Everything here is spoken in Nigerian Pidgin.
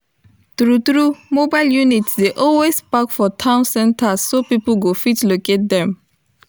true true moble units dey always park for town centers so people go fit locate them